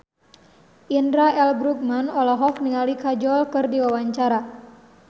Indra L. Bruggman olohok ningali Kajol keur diwawancara